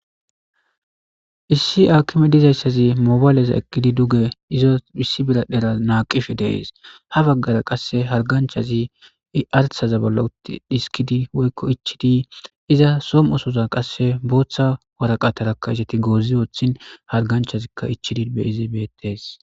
Issi akime dizaysi issi biradhdhera mobile duge naqishe dee's,habagara qase harganchazi i algaza bolla ichidi dhiskidaysa woys ichidi didaysi , izw somo'sora boththa mishshi goozi woththin harganchazika ichidi bates